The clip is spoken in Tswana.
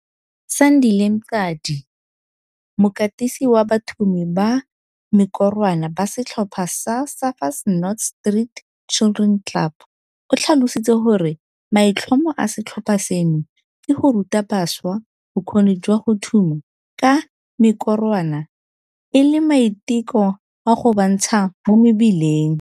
Sandile Mqadi, mokatisi wa bathumi ba mekorwana ba setlhopha sa Surfers Not Street Children Club, o tlhalositse gore maitlhomo a setlhopha seno ke go ruta bašwa bokgoni jwa go thuma ka mekorwana e le maiteko a go ba ntsha mo mebileng.